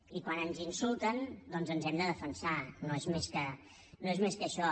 i quan ens insulten doncs ens hem de defensar no és més que això